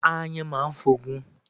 Ááyàn máa ń f'ogun.